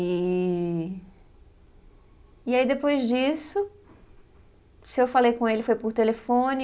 E E aí depois disso, se eu falei com ele, foi por telefone.